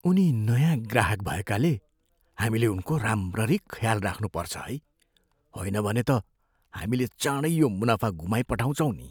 उनी नयाँ ग्राहक भएकाले हामीले उनको राम्ररी ख्याल राख्नुपर्छ है। होइन भने त हामीले चाँडै यो मुनाफा गुमाइपठाउँछौँ नि।